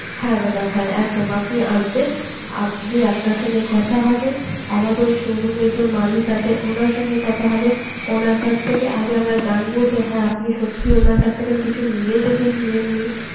হ্যাঁ, দাদা হ্যাঁ আপনি আসবেন, আপনি আপনার সঙ্গে কথা হবে আমাদের showroom এর যে মালিক আছে ওনার সঙ্গে কথা হবে ওনার কাছ থেকে আগে আমরা জানবো হ্যা আপনি সত্যি ওনার কাছ থেকে কিছু নিয়েছেন কি নেন নি